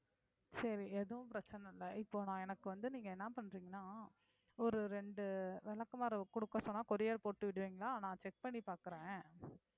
சரி எதுவும் பிரச்சனை இல்லை இப்போ நான் எனக்கு வந்து நீங்க என்ன பண்றீங்கன்னா ஒரு இரண்டு விளக்குமாறு கொடுக்க சொன்னா courier போட்டு விடுவீங்களா நான் check பண்ணி பார்க்கிறேன்